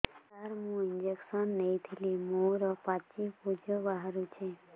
ସାର ମୁଁ ଇଂଜେକସନ ନେଇଥିଲି ମୋରୋ ପାଚି ପୂଜ ବାହାରୁଚି